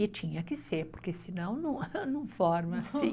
E tinha que ser, porque senão não forma assim.